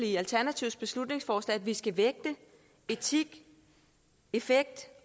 i alternativets beslutningsforslag at vi skal vægte etik effekt